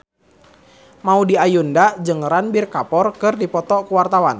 Maudy Ayunda jeung Ranbir Kapoor keur dipoto ku wartawan